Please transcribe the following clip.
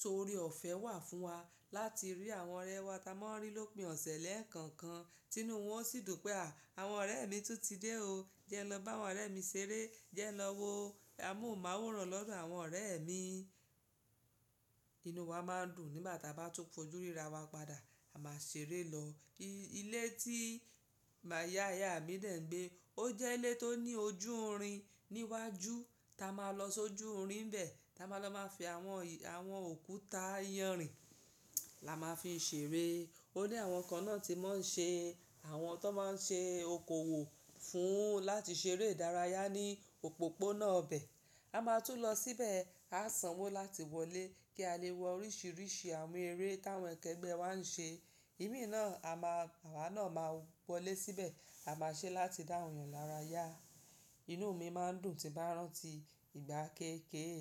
So ore ọ̀fẹ́ wà fún wa láti rí àwọn ọ̀rẹ́ wa táa máa ń rí lópín ọ̀sẹ̀ lẹ́ẹ̀ko kan. Inú wọn sì dùn pé à, àwọn ọ̀rẹ́ mi tún ti dé o. Jẹ́ n lọ bá àwọn ọ̀rẹ́ mi ṣeré, jẹ́ n lọ wo o. A mòhun maworan lọ́dọ̀ àwọn ọ̀rẹ́ mi. Inú wa máa ń dùn nígbà táa bá ti fojú ríra wa padà, a máa ṣeré lọ. Ilé tí mama ìyá iya mi dẹ̀ ń gbé, ó jẹ́ ilé tó ní ojúrin níwájú. Ta máa lọ sójúrin n bẹ̀, ta máa lọ máa fi àwọn, àwọn òkúta ìyanrìn la máa fi n ṣeré. O ní àwọn kan náà tí wọ́n ṣe, àwọn tó máa ń ṣe okòwò fún un láti ṣeré idárayá ní òpópónà bẹ̀. A máa tún lọ síbẹ̀, a sanwó láti wọlé kí a lè wo oríṣìíríṣìí àwọn eré táwọn ẹ̀gbẹ́ wa ń ṣe. Ìmi náà a máa, àwa náà máa wọlé síbẹ̀, a máa ṣe láti dá awon eyàn lára yá. Inú mi máa ń dùn tí bá rántí ìgbà kéékèèké.